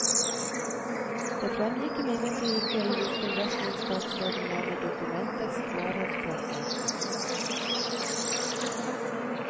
Det fremgikk imidlertid ikke i hvilken retning statsråden mener dokumentets klarhet peker.